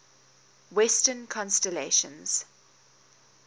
western constellations